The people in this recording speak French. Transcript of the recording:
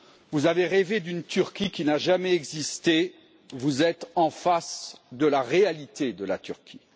Vous avez rêvé d'une Turquie qui n'a jamais existé, vous êtes en face de la réalité de la Turquie.